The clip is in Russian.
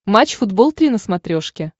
матч футбол три на смотрешке